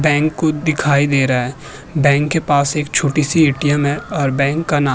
Bank दिखाई दे रहा है। बैंक के पास एक छोटी सी ए.टी.एम है और बैंक का नाम --